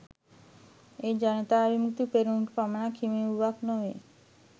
එය ජනතා විමුක්ති පෙරමුණට පමණක් හිමි වූවක් නොවේ